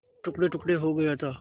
टुकड़ेटुकड़े हो गया था